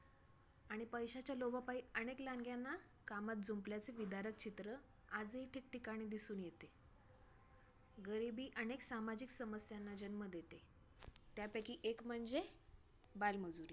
आणि पैशांच्या लोभापायी, अनेक लहानग्यांना कामांत जुंपल्याचे विदारक चित्र आजही ठिकठिकाणी दिसून येते. गरिबी अनेक सामाजिक समस्यांना जन्म देते, त्यांपैकी एक म्हणजे बालमजुरी.